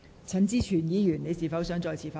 陳志全議員，你是否想再次發言？